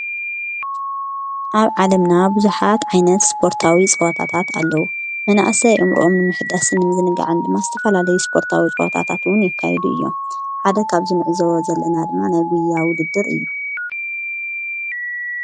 ኣብ ዓለምና ብዙሓት ዓይነት ስፖርታዊ ጸዎታታት ኣለዉ መናእሰይ ኣእምርኦሞ ንምሕዳስን ንምዝንጋዕን ድማ ዝተፈላለዩ ስፖርታዊ ጸዋታታትውን የካይዱ እዮም ሓደ ኻብንዕዘቦም ዘለና ድማ ናይጕያ ውድድር እዩ።